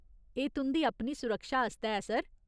एह् तुं'दी अपनी सुरक्षा आस्तै ऐ, सर।